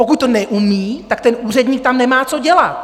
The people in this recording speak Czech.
Pokud to neumí, tak ten úředník tam nemá co dělat!